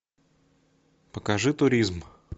покажи туризм